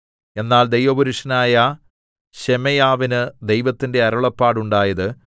എന്നാൽ ദൈവപുരുഷനായ ശെമയ്യാവിന് ദൈവത്തിന്റെ അരുളപ്പാടുണ്ടായത്